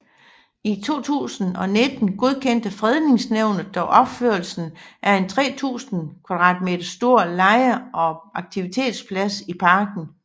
I 2019 godkendte fredningsnævnet dog opførelsen af en 3000 m2 stor lege og aktivitetsplads i parken